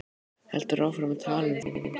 Heldur áfram að tala um Þór: